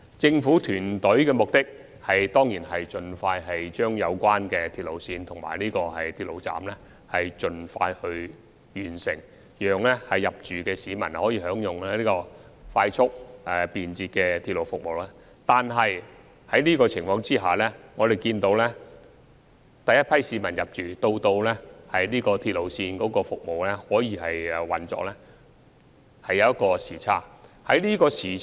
政府團隊當然希望盡快完成興建有關的鐵路線及車站，讓遷入的市民可以享用快速便捷的鐵路服務，但觀乎現時的情況，由首批市民遷入至鐵路投入服務，時間上可能會出現差距。